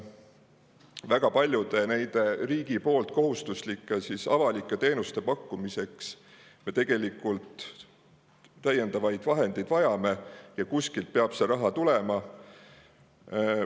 Väga paljude nende riigi poolt kohustuslike avalike teenuste pakkumiseks me tegelikult vajame täiendavaid vahendeid ja kuskilt peab see raha tulema.